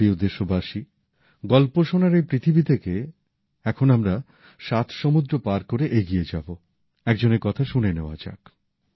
আমার প্রিয় দেশবাসী গল্প শোনার এই পৃথিবী থেকে এখন আমরা সাত সমুদ্র পার করে এগিয়ে যাব একজনের কথা শুনে নেওয়া যাক